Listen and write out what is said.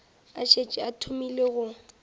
a šetše a thomile go